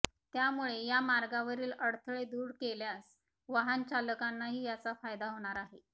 त्यामुळे या मार्गावरील अडथळे दूर केल्यास वाहन चालकांनाही याचा फायदा होणार आहे